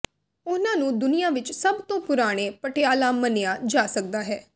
ਉਨ੍ਹਾਂ ਨੂੰ ਦੁਨੀਆ ਵਿਚ ਸਭ ਤੋਂ ਪੁਰਾਣੇ ਪਟਿਆਲਾ ਮੰਨਿਆ ਜਾ ਸਕਦਾ ਹੈ